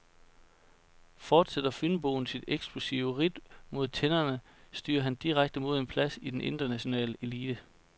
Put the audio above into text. Fortsætter fynboen sit eksplosive ridt mod tinderne, styrer han direkte mod en plads i den internationale elite.